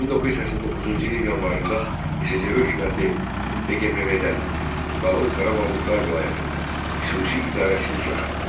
1989-cu ilin yanvarında SSRİ hökuməti DQMV-də, Dağlıq Qarabağ Muxtar Vilayətində, xüsusi idarəçilik yaratdı.